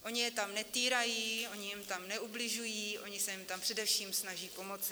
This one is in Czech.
Oni je tam netýrají, oni jim tam neubližují, oni se jim tam především snaží pomoci.